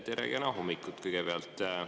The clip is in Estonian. Tere ja kena hommikut kõigepealt!